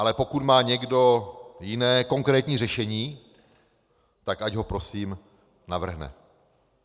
Ale pokud má někdo jiné konkrétní řešení, tak ať ho prosím navrhne.